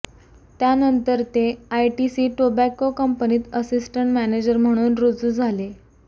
त्यानंतर ते ITC tobacco कंपनीत असिस्टंट मॅनेजर म्हणून रुजू झाले